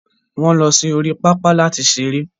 wọ́n lọ sí orí pápá láti seré.